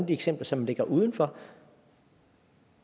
eksempler som ligger uden for